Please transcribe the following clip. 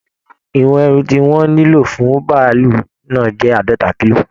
Ìwọ̀n ẹrù tí wọ́n nílò fún bàálù náà jẹ́ àádọ́ta kílò